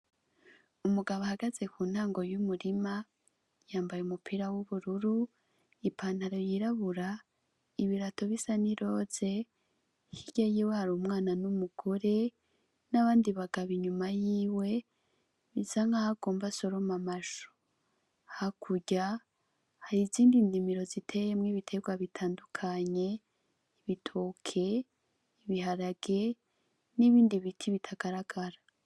Umugabo ahagaze ku ntango y'umurima yambaye umupira w'ubururu ipantaro yirabura ibirato bisa ni roze hirya yiwe hari umwana n'umugore nabandi bagabo inyuma yiwe bisa nkaho agomba asorome amashu hakurya hari izindi ndimiro ziteyemwo ibiterwa bitandukanye, ibitoke, ibiharage, nibindi biti bitagaragara